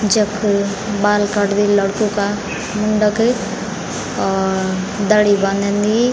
जख बाल काटदी लडको का मुण्डक और दाड़ी बानंदी।